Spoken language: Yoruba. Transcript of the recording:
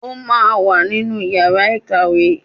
Ó máa wá sínú yàrá ìkàwé